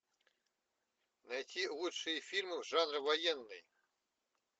найти лучшие фильмы жанра военный